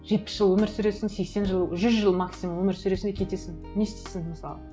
жетпіс жыл өмір сүресің сексен жыл жүз жыл максимум өмір сүресің и кетесің не істейсің мысалы